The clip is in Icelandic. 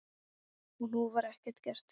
Og nú var ekkert gert.